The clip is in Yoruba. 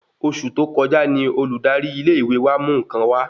Oṣù tó kọjá ní Olùdarí ilé ìwé wa mú nkan wà